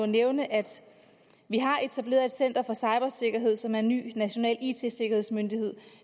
nævne at vi har etableret et center for cybersikkerhed som er en ny national it sikkerhedsmyndighed